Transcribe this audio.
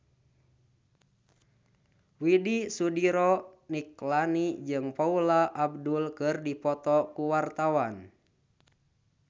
Widy Soediro Nichlany jeung Paula Abdul keur dipoto ku wartawan